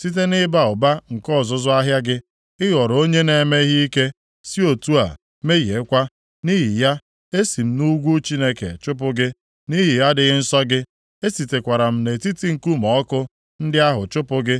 Site nʼịba ụba nke ọzụzụ ahịa gị ị ghọrọ onye na-eme ihe ike, si otu a mehiekwa. Nʼihi ya, esi m nʼugwu Chineke chụpụ gị, nʼihi adịghị nsọ gị. Esitekwara m nʼetiti nkume ọkụ ndị ahụ chụpụ gị,